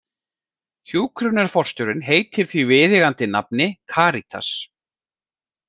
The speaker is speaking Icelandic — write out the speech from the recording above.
Hjúkrunarforstjórinn heitir því viðeigandi nafni Karítas.